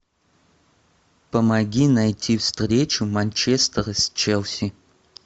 помоги найти встречу манчестер с челси